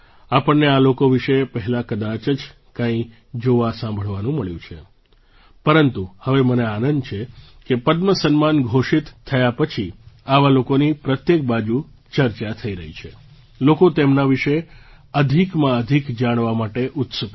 આપણને આ લોકો વિશે પહેલાં કદાચ જ કંઈ જોવાસાંભળવાનું મળ્યું છે પરંતુ હવે મને આનંદ છે કે પદ્મ સન્માન ઘોષિત થયા પછી આવા લોકોની પ્રત્યેક બાજુ ચર્ચા થઈ રહી છે લોકો તેમના વિશે અધિકમાં અધિક જાણવા માટે ઉત્સુક છે